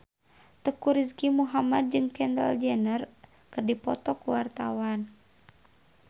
Teuku Rizky Muhammad jeung Kendall Jenner keur dipoto ku wartawan